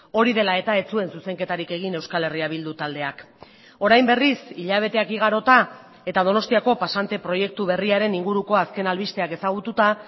hori dela eta ez zuen zuzenketarik egin euskal herria bildu taldeak orain berriz hilabeteak igarota eta donostiako pasante proiektu berriaren inguruko azken albisteak ezagututa